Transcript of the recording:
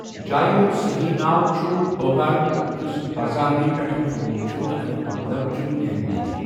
جایہِ ہُنٛد صٔحیح ناو چھُ بونَکاڑ یُس برظانوییو٘ تھوٚومٗت چھٗ تہٕ اَمیُک مطلب چھُ نیک نیتی۔